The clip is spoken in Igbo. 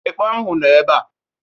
Ekpọ ahụ nọ ebe a.